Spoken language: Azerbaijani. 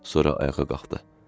Sonra ayağa qalxdı.